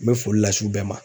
N bɛ foli las'u bɛɛ ma.